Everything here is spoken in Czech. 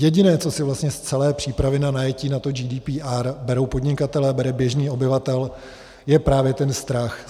Jediné, co si vlastně z celé přípravy na najetí na to GDPR berou podnikatelé, bere běžný obyvatel, je právě ten strach.